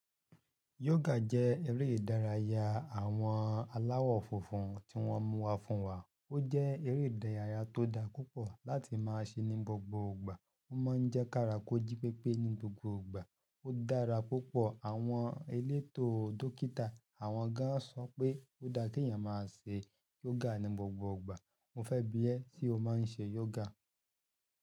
Yoga jẹ́ eré ìdárayá àwọn aláwọ̀ funfun tí wọ́n mú wá fún wa. Ó jẹ́ eré ìdárayá tó dá púpọ̀ láti máa ṣe ní gbogbo ìgbà. Ó máa ń jẹ́ kárako jí pépé ní gbogbo ìgbà. Ó dára púpọ̀. Àwọn elétò dókítà àwọn gan-an sọ pé ó dá pé èèyàn máa ṣe yoga ní gbogbo ìgbà. Mo fẹ́ biẹ se o máa ń ṣe yoga.